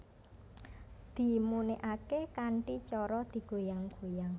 Dimuniake kanthi cara digoyang goyang